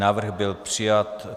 Návrh byl přijat.